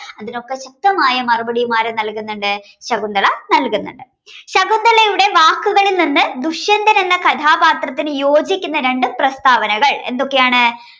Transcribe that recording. അതിനൊക്കെ ശക്തമായ മറുപടിയും ആര് നൽകുന്നുണ്ട് ശകുന്തള നൽകുന്നുണ്ട് ശകുന്തളയുടെ വാക്കുകളിൽ നിന്ന് ദുഷ്യന്തനൻ എന്ന കഥാപാത്രത്തിന് യോജിക്കുന്ന രണ്ട് പ്രസ്താവനകൾ എന്തൊക്കെയാണ്